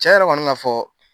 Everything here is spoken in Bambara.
Cɛn yɛrɛ kɔni ka fɔ